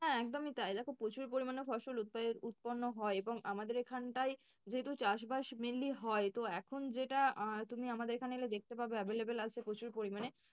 হ্যাঁ একদমই তাই দেখো প্রচুর পরিমাণে ফসল উৎপণ্য হয় এবং আমাদের এখানটায় যেহেতু চাষবাস mainly হয় তো এখন যেটা আহ তুমি আমাদের এখানে এলে দেখতে পাবে available আছে প্রচুর পরিমাণে।